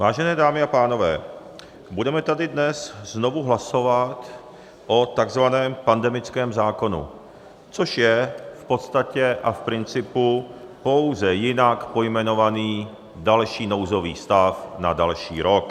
Vážené dámy a pánové, budeme tady dnes znovu hlasovat o takzvaném pandemickém zákonu, což je v podstatě a v principu pouze jinak pojmenovaný další nouzový stav na další rok.